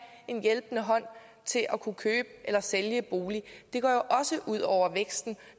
en hjælpende hånd til at kunne købe eller sælge en bolig det går jo også ud over væksten